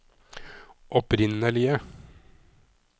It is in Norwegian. opprinnelige